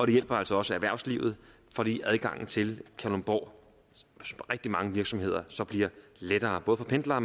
det hjælper altså også erhvervslivet fordi adgangen til kalundborgs rigtig mange virksomheder så bliver lettere både for pendlere